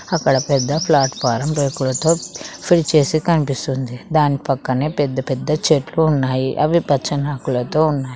అక్కడ పెద్ద ప్లాట్ఫారం రేకులతో ఫిల్ చేసి కనిపిస్తుంది దాని పక్కనే పెద్ద పెద్ద చెట్లు ఉన్నాయి అవి పచ్చని ఆకులతో ఉన్నాయ్.